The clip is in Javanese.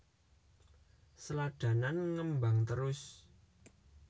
Sladanan ngembang trus